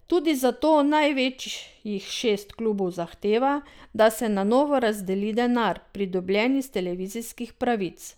Tudi zato največjih šest klubov zahteva, da se na novo razdeli denar, pridobljen iz televizijskih pravic.